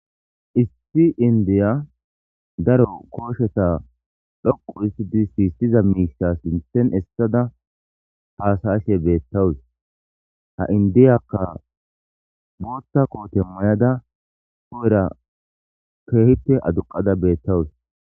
Issi indiya daro koosheta dhoqqu histitidi sisiza miisha sinthen essada, haasa'ashe beetawus. Ha indiyaka booththa koote mayada hu'era heehippe aduqada beetawus.